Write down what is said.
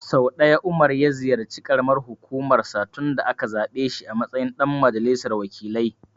Sau ɗaya Umar ya ziyarci ƙaramar hukumar sa tun da aka zaɓe shi a matsayin ɗan majalisar wakilai.